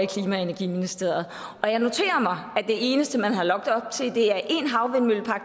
klimaministeriet og jeg noterer mig at det eneste man har lagt op til